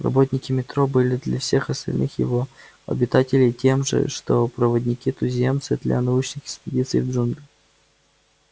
работники метро были для всех остальных его обитателей тем же что проводники-туземцы для научных экспедиций в джунглях